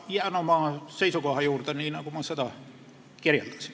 Ma jään oma seisukoha juurde, nii nagu ma seda kirjeldasin.